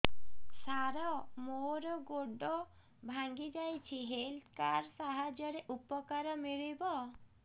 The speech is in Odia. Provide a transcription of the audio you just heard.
ସାର ମୋର ଗୋଡ଼ ଭାଙ୍ଗି ଯାଇଛି ହେଲ୍ଥ କାର୍ଡ ସାହାଯ୍ୟରେ ଉପକାର ମିଳିବ